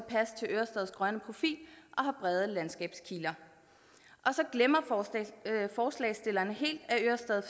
ørestads grønne profil og har brede landskabskiler så glemmer forslagsstillerne helt at ørestad